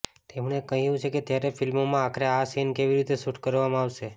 તેમણે કહ્યું છે કે ત્યારે ફિલ્મોમાં આખરે આ સીન કેવી રીતે શૂટ કરવામાં આવશે